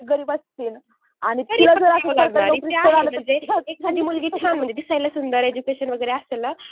गरीब असतील आणि म्हणजे एखादी मुलगी छान म्हणजे दिसायला सुंदर एडज्युकेशन वगैरे असेल ना